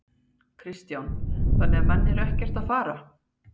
Kristján: Þannig að menn eru ekkert að fara?